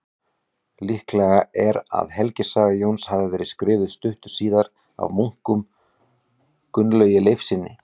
Líklegt er að helgisaga Jóns hafi verið skrifuð stuttu síðar af munknum Gunnlaugi Leifssyni.